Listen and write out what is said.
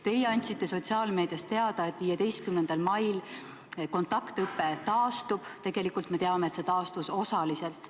Teie andsite sotsiaalmeedias teada, et 15. mail kontaktõpe taastub, tegelikult me teame, et see taastus osaliselt.